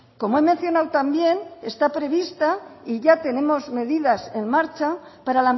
como he mencionado también está prevista y ya tenemos medidas en marcha para